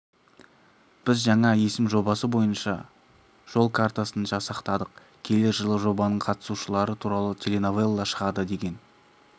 біз жаңа есім жобасы бойынша жол картасын жасақтадық келер жылы жобаның қатысушылары туралы теленовелла шығады деген